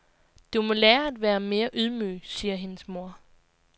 Du må lære at være mere ydmyg, siger hendes mor.